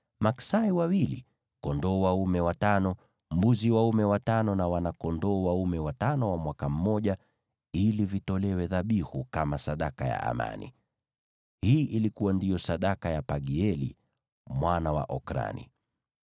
maksai wawili, kondoo dume watano, mbuzi dume watano na wana-kondoo dume watano wa mwaka mmoja, ili vitolewe dhabihu kama sadaka ya amani. Hii ndiyo ilikuwa sadaka ya Pagieli mwana wa Okrani.